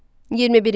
21-ci.